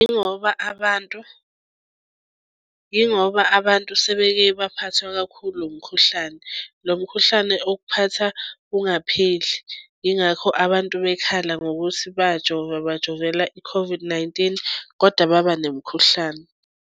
Yingoba abantu yingoba abantu sebeke baphathwa kakhulu umkhuhlane. Lo mkhuhlane okuphatha ungapheli, yingakho abantu bekhala ngokuthi bajova bajovela i-COVID-19 kodwa baba nemikhuhlane.